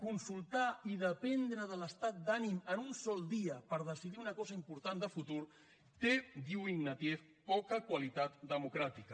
consultar i dependre de l’estat d’ànim en un sol dia per decidir una cosa important de futur té diu ignatieff poca qualitat democràtica